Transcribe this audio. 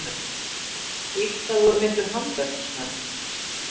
inkar voru miklir handverksmenn